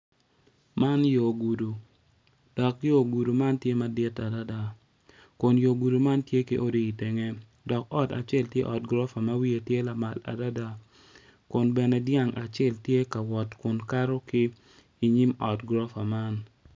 Man yo gudo dok yo gudo man tye madit adada kun yo gudo man tye ki odi i tenge dok ot acel tye ot gurofa ma wiye tye madit adada kun bene dyang acel tye ka wot kun kato i nyim ot gurofa man.